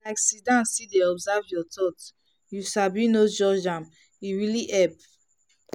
sit down still dey observe your thoughts you sabi no judge am e really help.